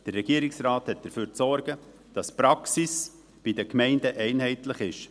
Der Regierungsrat hat dafür zu sorgen, dass die Praxis bei den Gemeinden einheitlich ist.